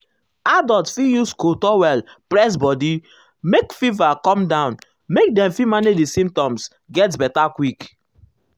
adults fit use cold towel press body make fever come down make dem fit manage di symptoms get beta quick.